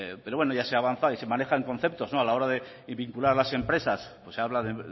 pero bueno ya se avanza y se manejan conceptos a la hora de vincular las empresas pues se habla de